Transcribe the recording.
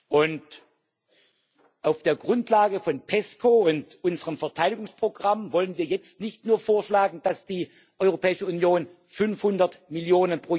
Und auf der Grundlage von PESCO und unserem Verteidigungsprogramm wollen wir jetzt nicht nur vorschlagen, dass die Europäische Union 500 Mio.